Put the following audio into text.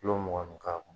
Kulo mugan ni kuran